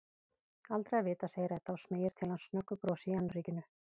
Aldrei að vita, segir Edda og smeygir til hans snöggu brosi í annríkinu.